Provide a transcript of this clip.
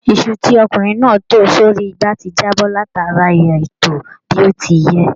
Iṣu tí ọkùnrin náà tò sórí ìgbà ti jábọ́ látáríi àìtò ó bí ó ti yẹ.